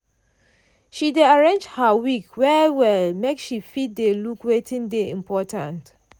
she dey arrange her week well-well make she fit dey look wetin dey important.